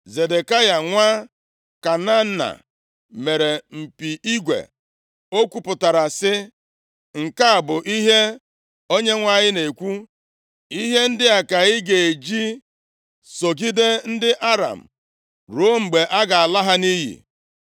Zedekaya nwa Kenaana, mere mpi igwe, ọ kwupụtara sị, “Nke a bụ ihe Onyenwe anyị na-ekwu, ‘Ihe ndị a ka ị ga-eji sọgide ndị Aram, ruo mgbe a ga-ala ha nʼiyi.’ ”